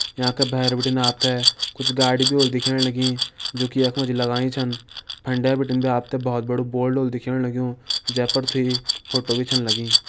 यांका भैर बिटिन आपतैं कुछ गाड़ी भि वोह्ली दिखेण लगीं जु कि यखमां जी लगाईं छन फंडे बिटिन भी आपतैं भोत बडू बोल्ड व्होलू दिखेण लग्युं जेपर द्वी फोटों भी छन लगीं।